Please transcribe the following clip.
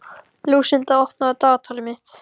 Lúsinda, opnaðu dagatalið mitt.